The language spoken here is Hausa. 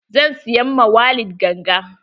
Zan siyan ma Walid ganga.